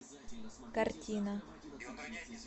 картина